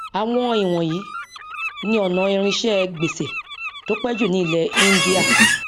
àwọn íwọnyìí ni ọnà irinṣẹ gbèsè tó pẹ jù ní ilẹ índíà